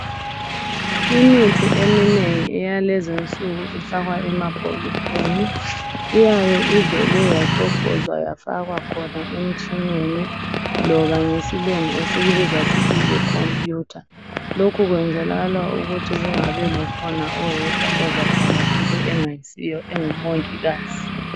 Imithi eminengi ifakwa emabhokisini, iyabe ivele yacofozwa yafakwa khona emtshineni loba ngesilungu esikubiza ngokuthi yikhompuyutha. Lokhu kwenzela ukuthi kungabi khona oyedwa ozabhala okungasikho oyabe engaso mongikazi.